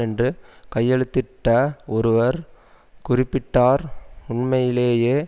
என்று கையெழுத்திட்ட ஒருவர் குறிப்பிட்டார் உண்மையிலேயே